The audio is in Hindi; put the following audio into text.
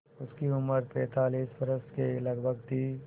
उनकी उम्र पैंतालीस वर्ष के लगभग थी